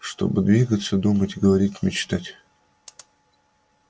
чтобы двигаться думать говорить мечтать